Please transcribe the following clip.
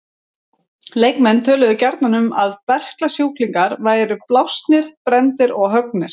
Leikmenn töluðu gjarnan um að berklasjúklingar væru blásnir, brenndir og höggnir.